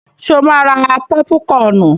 Ṣo máa ra pọ́púkọnù?